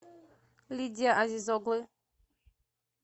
лидия азиз оглы